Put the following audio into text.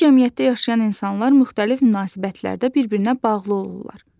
Bir cəmiyyətdə yaşayan insanlar müxtəlif münasibətlərdə bir-birinə bağlı olurlar.